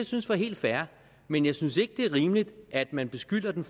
synes var helt fair men jeg synes ikke at det er rimeligt at man beskylder den